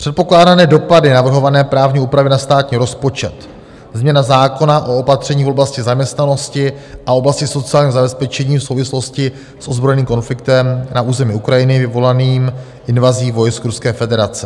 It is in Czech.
Předpokládané dopady navrhované právní úpravy na státní rozpočet, změna zákona o opatření v oblasti zaměstnanosti a oblasti sociálního zabezpečení v souvislosti s ozbrojeným konfliktem na území Ukrajiny vyvolaným invazí vojsk Ruské federace.